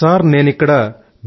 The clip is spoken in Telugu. సార్ నేను ఇక్కడ బి